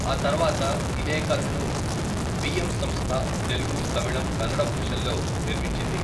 ఆ తర్వాత ఇదే కథను వి.ఎం. సంస్థ తెలుగు, తమిళం, కన్నడ భాషల్లో నిర్మించింది.